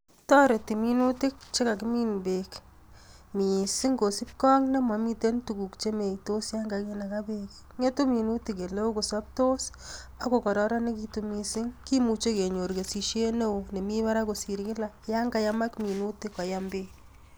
Toreti minutik chekakimin beek mising kosipkee ak nemomiten tukuk chemeitos yon kakinakaa beek, ngetu minutik eleoo kosoptos ak ko kororonekitun mising kimuje kenyor kesisiet neoo nemii barak kosir kila yon kayamak minutik koyam beek.